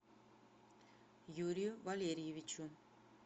юрию валерьевичу